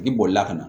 I bolila ka na